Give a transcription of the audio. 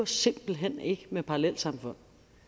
simpelt hen ikke med parallelsamfund